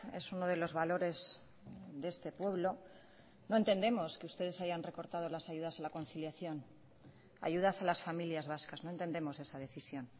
es uno de los valores de este pueblo no entendemos que ustedes hayan recortado las ayudas a la conciliación ayudas a las familias vascas no entendemos esa decisión